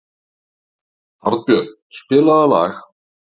Arnbjörn, spilaðu lag.